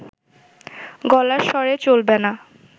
গলার স্বরে চলবে না